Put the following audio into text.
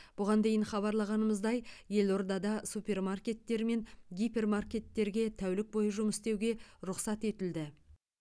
бұған дейін хабарлағанымыздай елордада супермаркеттер мен гипермаркеттерге тәулік бойы жұмыс істеуге рұқсат етілді